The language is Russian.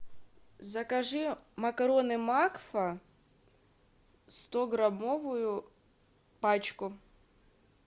закажи макароны макфа стограммовую пачку